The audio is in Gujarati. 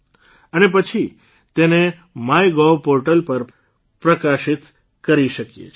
અને પછી તેને માય ગોવ પોર્ટલ પર પ્રકાશિત કરી શકીએ છીએ